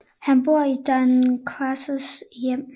Han bor i Don Cassandros hjem